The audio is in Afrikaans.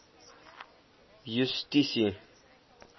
justisie